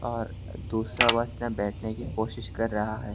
और दूसरा बस मे बैठने की कोशिश कर रहा है।